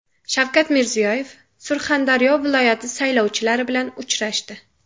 Shavkat Mirziyoyev Surxondaryo viloyati saylovchilari bilan uchrashdi.